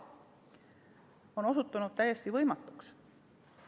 See on osutunud täiesti võimatuks.